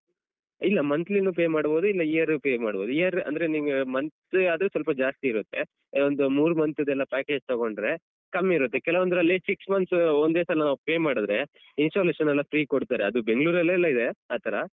ಇಲ್ಲ monthly ನು pay ಮಾಡ್ಬೋದು ಇಲ್ಲ year pay ಮಾಡ್ಬೋದು year ಅಂದ್ರೆ ನಿಮ್ಗೆ monthly ಆದ್ರೆ ಸ್ವಲ್ಪ ಜಾಸ್ತಿ ಇರುತ್ತೆ ಒಂದು ಮೂರು month ದೆಲ್ಲ package ತಗೊಂಡ್ರೆ ಕಮ್ಮಿ ಇರುತ್ತೆ ಕೆಲವೊಂದ್ರಲ್ಲಿ six months ಒಂದೇ ಸಲ ನಾವು pay ಮಾಡಿದ್ರೆ installation ಎಲ್ಲ free ಕೊಡ್ತಾರೆ ಅದು ಬೆಂಗ್ಳೂರಲ್ಲೆಲ್ಲ ಇದೆ ಆತರ.